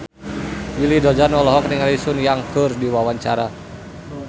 Willy Dozan olohok ningali Sun Yang keur diwawancara